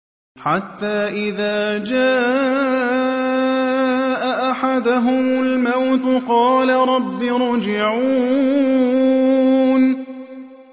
حَتَّىٰ إِذَا جَاءَ أَحَدَهُمُ الْمَوْتُ قَالَ رَبِّ ارْجِعُونِ